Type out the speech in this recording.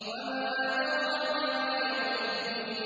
وَمَا أَدْرَاكَ مَا يَوْمُ الدِّينِ